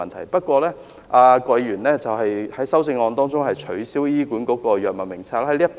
然而，郭議員在修正案中建議取消醫管局的藥物名冊。